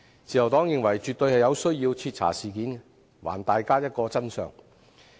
自由黨認為絕對有需要徹查事件，還大家一個真相。